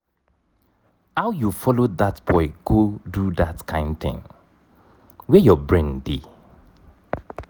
how you follow dat boy go do dat kin thing? where your brain dey?